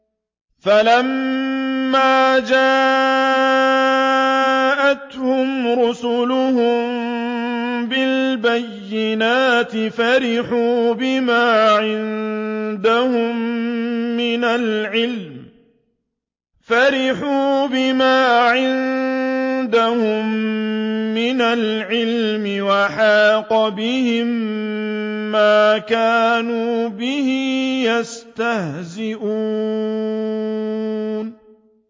فَلَمَّا جَاءَتْهُمْ رُسُلُهُم بِالْبَيِّنَاتِ فَرِحُوا بِمَا عِندَهُم مِّنَ الْعِلْمِ وَحَاقَ بِهِم مَّا كَانُوا بِهِ يَسْتَهْزِئُونَ